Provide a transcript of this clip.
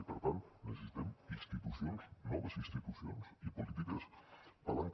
i per tant necessitem institucions noves institucions i polítiques palanca